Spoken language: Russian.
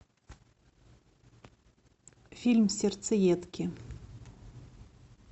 фильм сердцеедки